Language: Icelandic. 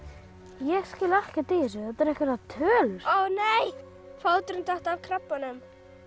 ég skil ekkert í þessu þetta eru einhverjar tölur ó nei fóturinn datt af krabbanum